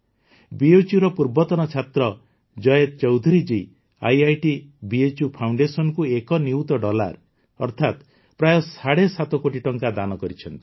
ବିଏଚ୍ୟୁର ପୂର୍ବତନ ଛାତ୍ର Jay Chaudhuriji IIT BHU ଫାଉଣ୍ଡେସନକୁ ୧ ନିୟୁତ ଡଲାର ଅର୍ଥାତ ପ୍ରାୟ ସାଢ଼େ ସାତ କୋଟି ଟଙ୍କା ଦାନ କରିଛନ୍ତି